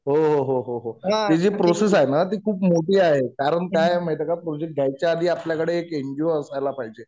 हो हो हो. हि जी प्रोसेस आहे ना ती खूप मोठी आहे. कारण कि काय माहितीये का प्रोजेक्ट घ्यायच्या आधी आपल्याकडे एक एनजीओ असायला पाहिजे.